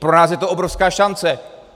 Pro nás je to obrovská šance.